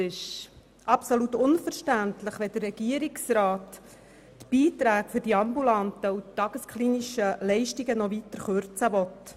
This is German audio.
Es ist absolut unverständlich, dass der Regierungsrat die Beiträge für die ambulanten und tagesklinischen Leistungen noch weiter kürzen will.